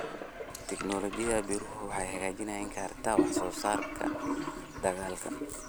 Tignoolajiyada beeruhu waxay hagaajin kartaa wax soo saarka dalagga.